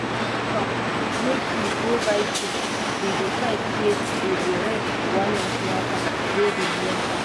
make we go buy things we decide say we go rest for one national park wey dey nearby.